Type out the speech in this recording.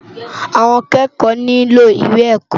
Awòn ákèékò nilò iwé èkò